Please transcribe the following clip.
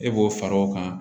E b'o fara o kan